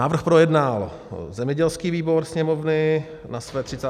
Návrh projednal zemědělský výbor Sněmovny na své 34. schůzi.